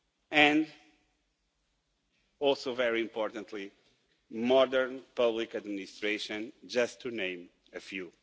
and also very importantly modern public administration, just to name a few.